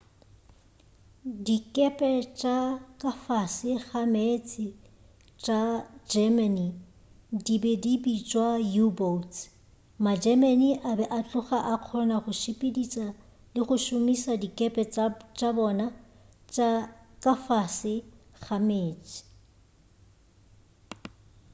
dikepe tša ka fase ga meetse tša germany di be di bitšwa u-boats ma-germany a be a tloga a kgona go sepediša le go šomiša dikepe tša bona tša ka fase ga meetse